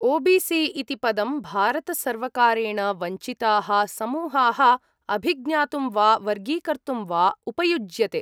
OBC. इति पदं भारतसर्वकारेण वञ्चिताः समूहाः अभिज्ञातुं वा वर्गीकर्तुं वा उपयुज्यते।